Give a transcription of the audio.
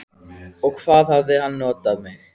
Og hvað hann hafði notað mig.